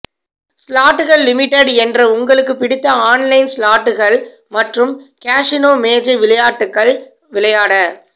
ஸ்லாட்டுகள் limited என்ற உங்களுக்குப் பிடித்த ஆன்லைன் ஸ்லாட்டுகள் மற்றும் கேசினோ மேஜை விளையாட்டுகள் விளையாட